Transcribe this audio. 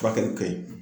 Furakɛli ka ɲi